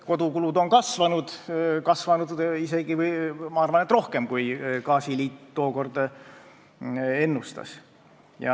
Kodukulud on kasvanud, ja kasvanud isegi, ma arvan, rohkem, kui gaasiliit tookord ennustas.